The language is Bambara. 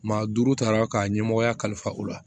Maa duuru tara ka ɲɛmɔgɔya kalifa u la